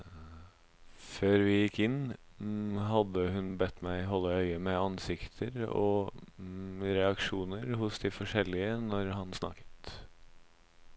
Før vi gikk inn, hadde hun bedt meg holde øye med ansikter og reaksjoner hos de forskjellige når han snakket.